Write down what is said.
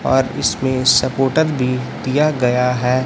और इसमें सपोर्टर भी दिया गया है।